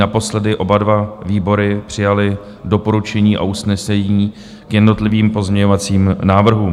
Naposledy oba dva výbory přijaly doporučení a usnesení k jednotlivým pozměňovacím návrhům.